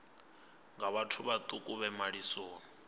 nga vhathu vhaṱuku vhe malisoni